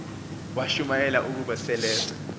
washumayela ukuba seleza